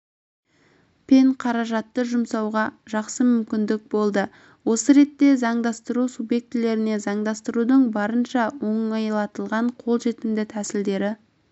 пен қаражатты ұсынуға жақсы мүмкіндік болды осы ретте заңдастыру субъектілеріне заңдастырудың барынша оңайлатылған қолжетімді тәсілдері